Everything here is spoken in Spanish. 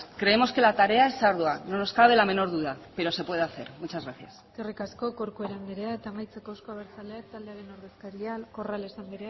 creemos que la tarea es ardua no nos cabe la menor duda pero se puede hacer muchas gracias eskerrik asko corcuera anderea eta amaitzeko euzko abertzaleak taldearen ordezkaria corrales anderea